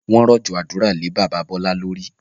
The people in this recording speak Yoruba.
Wọn rọ̀jọ̀ àdúrà lè bàbá Bọlá lórí